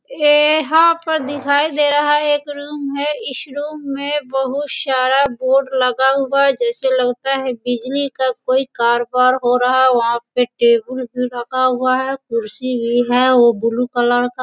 ए यहाँ पर दिखाई दे रहा हैं एक रूम में इस रूम में बहुत सारा बोर्ड लगा हुआ है जैसे लगता है बिजली का कोई कारबार हो रहा है वहाँ पे टेबुल भी रखा हुआ हैं कुर्सी भी हैं। वो ब्लू कलर का --